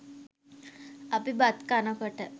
අපි බත් කනකොට